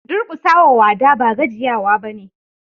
Durkusa wa wada ba gajiyawa bane.